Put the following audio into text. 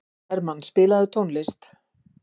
Hermann, spilaðu tónlist.